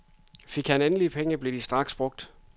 Fik han endelig penge, blev de straks brugt.